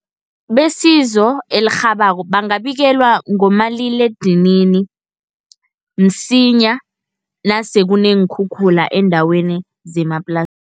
Besizo elirhabako bangabikelwa ngomaliledinini, msinya nasele kuneenkhukhula eendaweni zemaplasini.